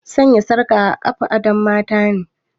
Sanya sarka a kafa adon matane